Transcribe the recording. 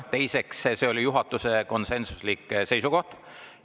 Teiseks, see oli juhatuse konsensuslik seisukoht.